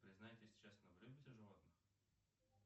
признайтесь честно вы любите животных